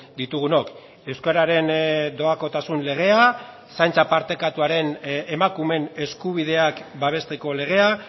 ditugunok euskararen doakotasun legea zaintza partekatuaren emakumeen eskubideak babesteko legea